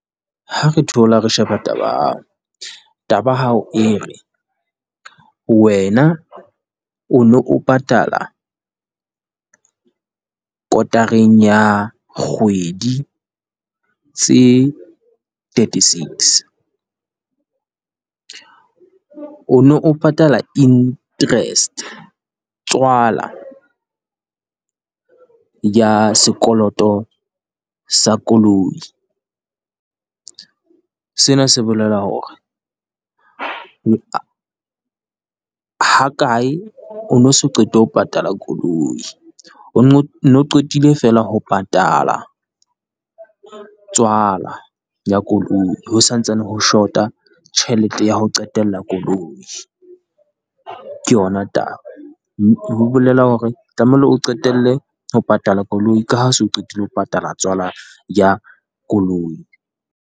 Ha re thola re sheba taba ya hao, taba ya hao e re wena o no o patala kotareng ya kgwedi tse thirty-six, o no patala interest, tswala ya sekoloto sa koloi. Sena se bolela hore ha kae o no so qete ho patala koloi, o no qetile feela ho patala tswala ya koloi, ho sa ntsane ho short-a tjhelete ya ho qetella koloi. Ke yona taba, ho bolela hore tlamehile o qetelle ho patala koloi, ka ha so qetile ho patala tswala ya koloi.